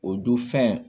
O dun fɛn